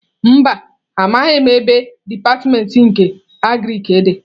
Mba, amaghim ebe dipatịmentị nke Agriki di.